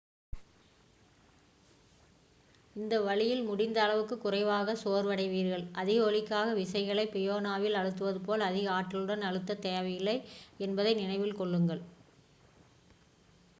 இந்த வழியில் முடிந்த அளவு குறைவாக சோர்வடைவீர்கள் அதிக ஒலிக்காக விசைகளை பியானோவில் அழுத்துவது போல அதிக ஆற்றலுடன் அழுத்தத் தேவையில்லை என்பதை நினைவில் கொள்ளுங்கள்